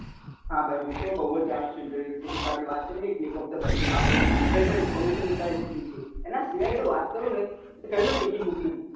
હા ભાઈ હુંતો બૌ જ જાણું ચુ internet વિશે આપડે વાત કરીએ ને click of the button વિશે કઈ પણ information નીકળી શકીએ છીએ એના સિવાય જો વાત કરુંને તો કહ્યું ને ticket booking